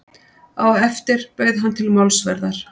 Á eftir bauð hann til málsverðar.